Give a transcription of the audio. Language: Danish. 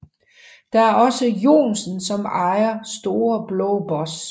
Der er også Johnsen som er ejer af Store blå boss